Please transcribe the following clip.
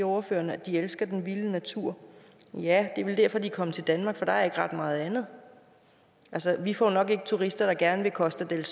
ordføreren at de elsker den vilde natur ja det er vel derfor de er kommet til danmark for der er ikke ret meget andet altså vi får jo nok ikke turister der gerne vil costa del